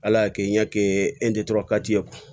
Ala y'a kɛ ɲɛkɛ ye